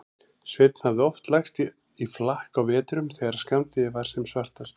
Sveinn hafði oft lagst í flakk á vetrum þegar skammdegið var sem svartast.